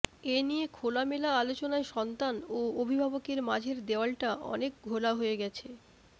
এ নিয়ে খোলামেলা আলোচনায় সন্তান ও অভিভাবকের মাঝের দেওয়ালটা অনেক ঘোলা হয়ে গেছে